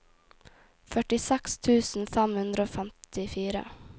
førtiseks tusen fem hundre og femtifire